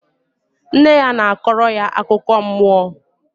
Nne ya na-akọrọ ya akụkọ mmụọ